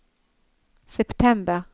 september